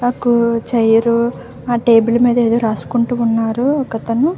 ఒక చైర్ ఆ టేబుల్ మీద ఏదో రాసుకుంటూ ఉన్నారు ఒక అతను.